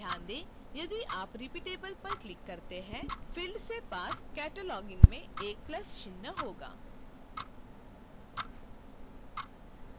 ध्यान दें यदि आप repeatable पर click करते हैं तबfield के पास cataloging में एक plus चिह्न होगा